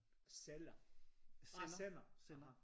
Sælger? Ah sender aha